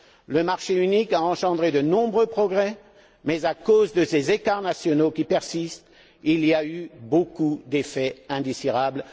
Le marché unique a engendré de nombreux progrès mais, à cause de ces écarts nationaux qui persistent, il y a eu beaucoup d'effets indésirables.